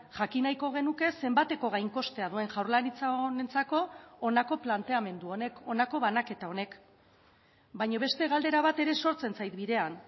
jakin nahiko genuke zenbateko gain kostea duen jaurlaritza honentzako honako planteamendu honek honako banaketa honek baina beste galdera bat ere sortzen zait bidean